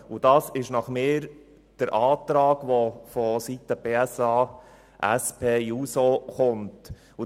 Genau um diese Leute geht es im Antrag der SP-JUSO-PSA.